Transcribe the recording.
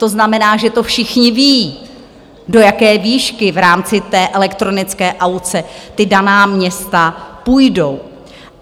To znamená, že to všichni vědí, do jaké výšky v rámci té elektronické aukce ta daná města půjdou.